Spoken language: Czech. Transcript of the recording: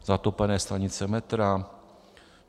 Zatopené stanice metra.